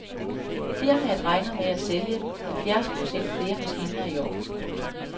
Firmaet regner med at sælge halvtreds procent flere maskiner i år. punktum